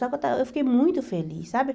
Só que eu estava eu fiquei muito feliz, sabe?